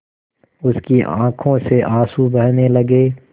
उसकी आँखों से आँसू बहने लगे